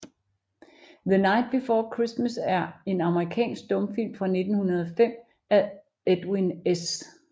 The Night Before Christmas er en amerikansk stumfilm fra 1905 af Edwin S